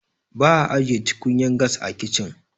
ba a ajiye tukunyar gas a kicin